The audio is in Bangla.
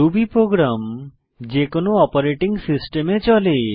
রুবি প্রোগ্রাম যেকোনো অপারেটিং সিস্টেমে চলে